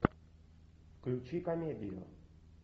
включи комедию